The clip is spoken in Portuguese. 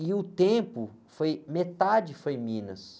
E o tempo, foi, metade foi Minas.